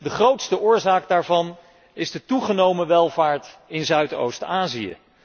De grootste oorzaak daarvan is de toegenomen welvaart in Zuidoost Azië.